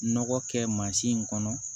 Nɔgɔ kɛ mansin kɔnɔ